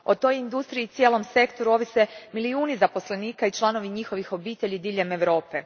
O toj industriji i cijelom sektoru ovise milijuni zaposlenika i članovi njihovih obitelji diljem Europe.